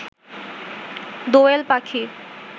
দোয়েল পাখি